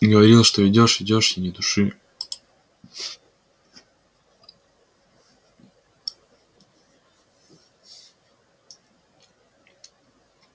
говорил что идёшь идёшь и ни души